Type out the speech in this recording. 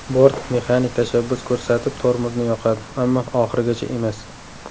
Bort mexanik tashabbus ko‘rsatib tormozni yoqadi, ammo oxirigacha emas.